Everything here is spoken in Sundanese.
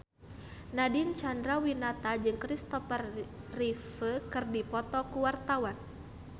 Nadine Chandrawinata jeung Christopher Reeve keur dipoto ku wartawan